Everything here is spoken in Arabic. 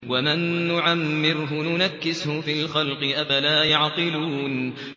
وَمَن نُّعَمِّرْهُ نُنَكِّسْهُ فِي الْخَلْقِ ۖ أَفَلَا يَعْقِلُونَ